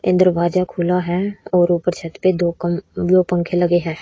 एक दरवाजा खुला है और ऊपर छत पे दो पंखे लगे हैं।